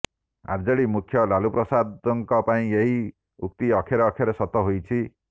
RJD ମୁଖ୍ୟ ଲାଲୁପ୍ରସାଦଙ୍କ ପାଇଁ ଏହି ଉକ୍ତି ଅକ୍ଷରେ ଅକ୍ଷରେ ସତ ହୋଇଛି